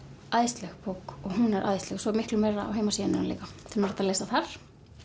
æðisleg bók og hún er æðisleg svo er miklu meira á heimasíðunni hennar líka sem er hægt að lesa þar